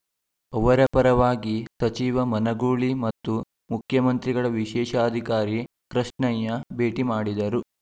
ಅವರ ಪರವಾಗಿ ಸಚಿವ ಮನಗೂಳಿ ಮತ್ತು ಮುಖ್ಯಮಂತ್ರಿಗಳ ವಿಶೇಷಾಧಿಕಾರಿ ಕೃಷ್ಣಯ್ಯ ಭೇಟಿ ಮಾಡಿದರು